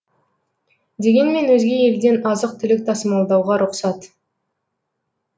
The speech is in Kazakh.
дегенмен өзге елден азық түлік тасымалдауға рұқсат